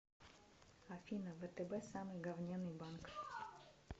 афина втб самый говняный банк